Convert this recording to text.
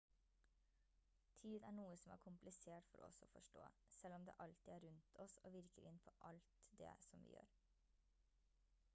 tid er noe som er komplisert for oss å forstå selv om det alltid er rundt oss og virker inn på alt det som vi gjør